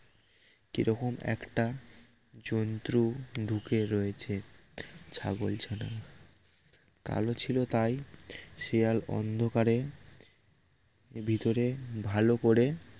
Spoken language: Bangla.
কিরকম একটা জন্তু ঢুকে রয়েছে ছাগলছানা কালো ছিল তাই শিয়াল অন্ধকারে ভেতরে ভালো করে